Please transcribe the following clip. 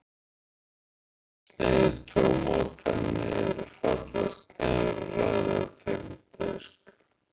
Sneiðið tómatana niður í fallegar sneiðar og raðið þeim á disk.